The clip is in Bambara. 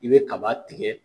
I be kaba tigɛ